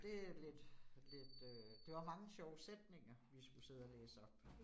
Det er lidt lidt øh det var mange sjove sætninger, vi skulle sidde og læse op